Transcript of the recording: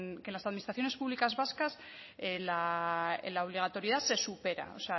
que en las administraciones públicas vascas la obligatoriedad se supera o